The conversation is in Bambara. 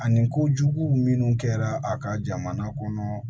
Ani kojugu minnu kɛra a ka jamana kɔnɔ